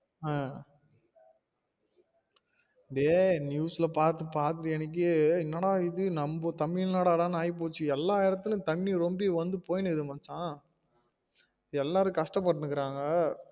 ஆஹ் news ஆஹ் பாத்து பாத்து எனக்கே என்னடா இது நம்ம தமிழ்நாடனு ஆயிபோச்சு எல்லா இடத்துலையும் தண்ணி வந்து வந்து போயினுக்குது மச்சா எல்லாரும் கஷ்டபட்டுன்னு இருக்காங்க